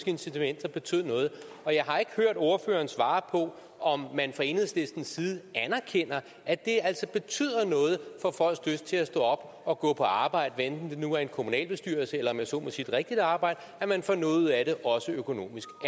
incitamenter betød noget og jeg har ikke hørt ordføreren svare på om man fra enhedslistens side anerkender at det altså betyder noget for folks lyst til at stå op og gå på arbejde hvad enten det nu er i en kommunalbestyrelse eller om jeg så må sige rigtigt arbejde at man får noget ud af det også økonomisk